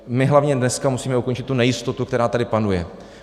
My hlavně dneska musíme ukončit tu nejistotu, která tady panuje.